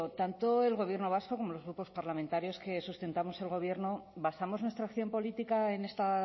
tanto el gobierno vasco como los grupos parlamentarios que sustentamos al gobierno basamos nuestra acción política en esta